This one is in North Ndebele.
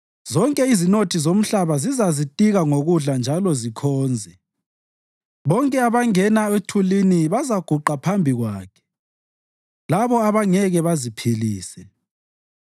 Zonke izinothi zomhlaba zizazitika ngokudla njalo zikhonze; bonke abangena othulini bazaguqa phambi Kwakhe labo abangeke baziphilise.